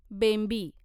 बेंबी